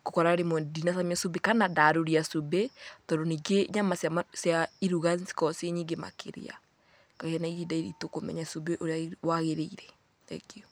ngakora rĩmwe ndinacamia cumbĩ kana ndarũria cumbĩ tondũ ningĩ nyama cia iruga nĩ cikoragwo ciĩ nyingĩ makĩria, ngagĩa na ihinda iritũ kũmenya cumbĩ ũrĩa wagĩrĩire. Thengiũ.